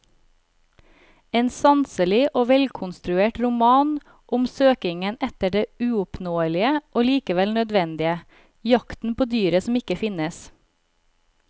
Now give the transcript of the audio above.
En sanselig og velkonstruert roman om søkingen etter det uoppnåelige og likevel nødvendige, jakten på dyret som ikke finnes.